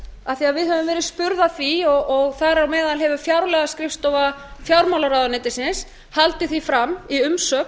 að við höfum verið spurð að því og þar á meðal hefur fjárlagaskrifstofa fjármálaráðuneytisins haldið því fram í umsögn